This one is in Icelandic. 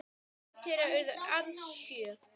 Börn þeirra urðu alls sjö.